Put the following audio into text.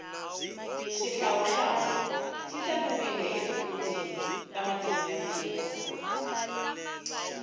shihlawuhlawu shitsariwile etibhukuwini tamatimu yatiko